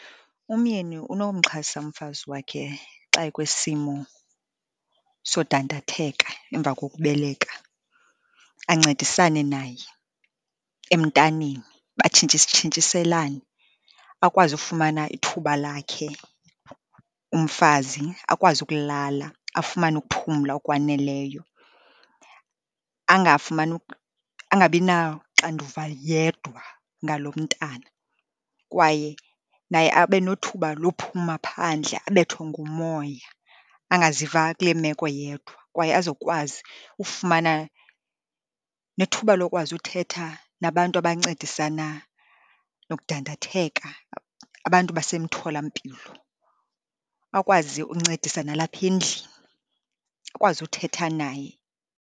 Umyeni unowumxhasa umfazi wakhe xa ekwisimo sodandatheka emva kokubeleka, ancedisane naye emntaneni batshintshiselane. Akwazi ukufumana ithuba lakhe umfazi, akwazi ukulala, afumane ukuphumla okwaneleyo. Angafumani, angabi naxanduva yedwa ngalo mntana, kwaye naye abe nothuba lophuma phandle, abethwe ngumoya, angaziva kule meko yedwa, kwaye azokwazi ufumana nethuba lokwazi uthetha nabantu abancedisana nokudandatheka, abantu basemtholampilo. Akwazi uncedisa nalapha endlini, akwazi uthetha naye.